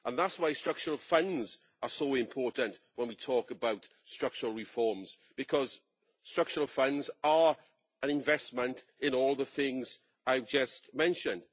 That is why structural funds are so important when we talk about structural reforms structural funds are an investment in all the things I have just mentioned.